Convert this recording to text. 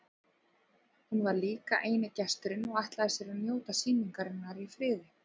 Hún var líka eini gesturinn og ætlaði sér að njóta sýningarinnar í friði.